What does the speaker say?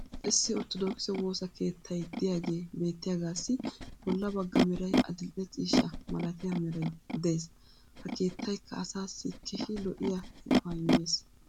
issi orttodookisse woosa keettay diyaagee beettiyaagaassi bola baga meray adil'e ciishsha malattiya meray des. ha keettaykka asaassi keehi lo'iya go'aa immees.